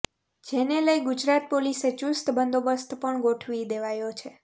જેને લઈ ગુજરાત પોલીસે ચુસ્ત બંદોબસ્ત પણ ગોઠવી દેવાયો છે